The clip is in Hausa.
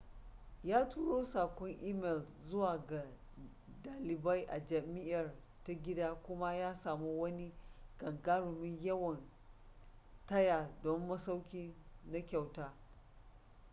ya turo saƙon imel zuwa ga ɗalibai a jam'iar ta gida kuma ya samu wani gagarumin yawan taya don masauki na kyauta